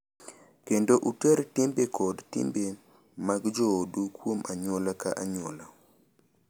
Kendo uter timbe kod timbe mag joodu kuom anyuola ka anyuola.